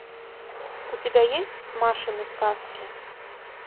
у тебя есть машины сказки